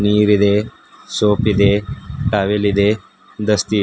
ನೀರಿದೆ ಸೋಪ್ ಇದೆ ಟವೆಲ್ ಇದೆ ದಸ್ತಿ ಇದೆ.